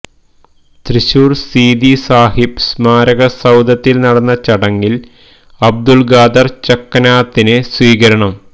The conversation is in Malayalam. തൃശൂർ സീതി സാഹിബ് സ്മാരക സൌധത്തിൽ നടന്ന ചടങ്ങിൽ അബ്ദുൾ ഖാദർ ചക്കനാത്തിന് സ്വീകരണം